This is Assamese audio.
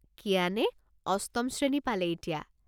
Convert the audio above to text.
কিয়ানে অষ্টম শ্ৰেণী পালে এতিয়া।